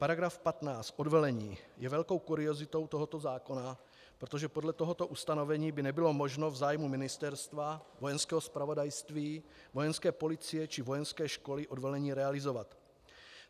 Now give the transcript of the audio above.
Paragraf 15 - odvelení je velkou kuriozitou tohoto zákona, protože podle tohoto ustanovení by nebylo možno v zájmu ministerstva, Vojenského zpravodajství, Vojenské policie či vojenské školy odvelení realizovat.